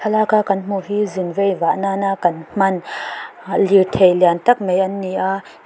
thlalak a kan hmuh hi zin vei vah nan a kan hman ahh lirthei liantak mai an ni a--